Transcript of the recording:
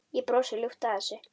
Ég brosi ljúft að þessu.